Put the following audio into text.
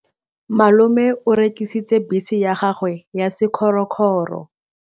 Malome o rekisitse bese ya gagwe ya sekgorokgoro.